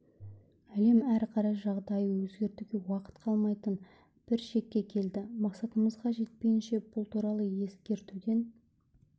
әлем әрі қарай жағдайды өзгертуге уақыт қалмайтын бір шекке келді мақсатымызға жетпейінше бұл туралы ескертуден